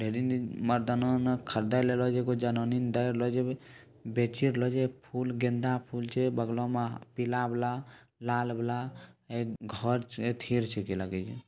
lady मरदाना ना खरदे बेचे लेरो जे फूल गंदा फूल छे | बगल में पीला वाला लाल-वाला घर |